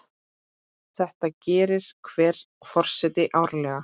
Þetta gerir hver forseti árlega.